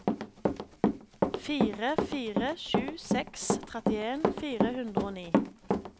fire fire sju seks trettien fire hundre og ni